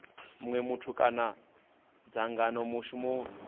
munwe muthu kana dzangano mushumo